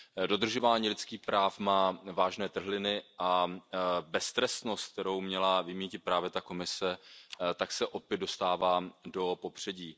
Dodržování lidských práv má vážné trhliny a beztrestnost, kterou měla vymýtit právě ta komise, se opět dostává do popředí.